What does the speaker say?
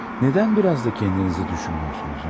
Nədən biraz da kəndinizi düşünmüyorsunuz, ha?